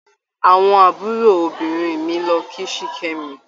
Àwọn àbúròbìnrin mi lọ kí Sikemi.